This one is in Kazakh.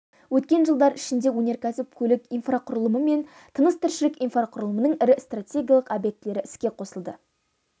өткен жылдар ішінде өнеркәсіп көлік инфрақұрылымы мен тыныс-тіршілік инфрақұрылымының ірі стратегиялық объектілері іске қосылды